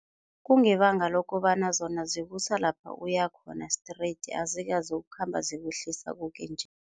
Kungebanga lokobana zona zikusalapha uyakhona straight, azikazokukhamba zikuhlisa koke-nje.